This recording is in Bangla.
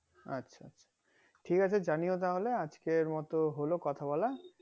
আচ্ছা ঠিক আছে জানিও তাহলে আজকের মতো হলো কথা বলা